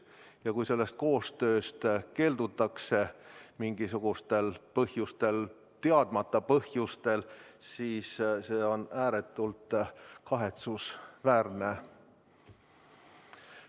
Ja kui sellest koostööst keeldutakse mingisugustel teadmata põhjustel, siis see on ääretult kahetsusväärne.